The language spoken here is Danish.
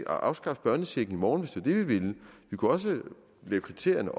afskaffe børnechecken i morgen hvis vi vil vi kan også lave kriterierne